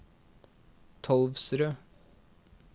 Tolvsrød